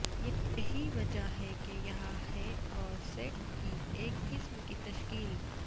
یہی وجہ ہے کہ یہاں ہے اور سسٹ کی ایک قسم کی تشکیل